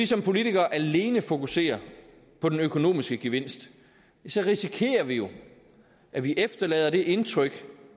som politikere alene fokuserer på den økonomiske gevinst risikerer vi jo at vi efterlader det indtryk